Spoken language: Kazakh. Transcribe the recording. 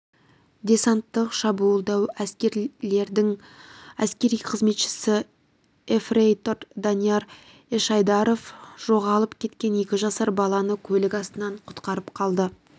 десанттық-шабуылдау әскерлерінің әскери қызметшісі ефрейтор данияр ешайдаров жоғалып кеткен екі жасар баланы көлік астынан құтқарып қалды